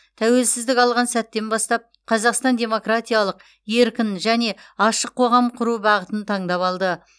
тәуелсіздік алған сәттен бастап қазақстан демократиялық еркін және ашық қоғам құру бағытын таңдап алды